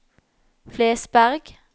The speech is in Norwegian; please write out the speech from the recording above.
Flesberg